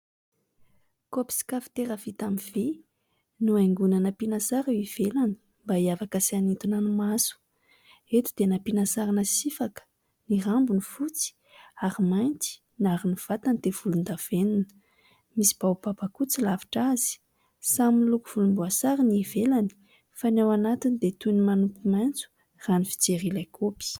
Kopy sy kafitera vita amin' ny vy nohaingoina nampiana sary eo ivelany mba hiavaka sy hanintona ny maso ,eto dia nampiana sarina sifaka ny rambony fotsy ary mainty ary ny vantany dia volondavenina misy baobaba koa tsy lavitra azy samy miloko volomboasary ny ivelany fa ny ao anatiny dia toy ny manompo maintso raha ny fijery ilay kopy .